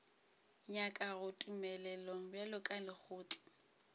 nyakago tumelelo bjalo ka lekgotla